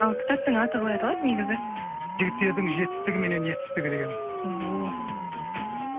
ал кітаптың аты қалай аталады негізі жігіттердің жетістігі мен етістігі деген ооо